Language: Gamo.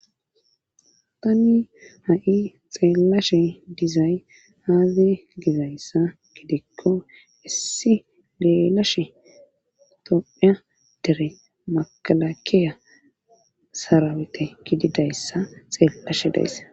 tanni ha7i xeellashe dizay haaze gizayssa gidekko issi geelashe tophia dere makalakeya sarawete gididayssa xeellashe dayssa